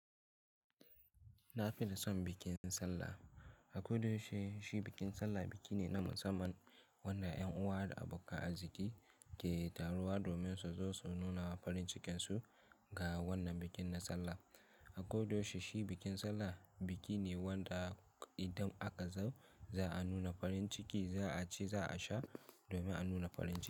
Na fi son bikin sallah. A kodayaushe, shi bikin sallah biki ne na musamman wanda 'yan uwa da abokan arziki ke taruwa domin su zo su nuna farin cikin su ga wannan bikin na sallah. A kodayaushe shi bikin sallah biki ne wanda idan aka zo za a nuna farin ciki, za a ci, za a sha domin a nuna farin ciki.